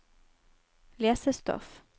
lesestoff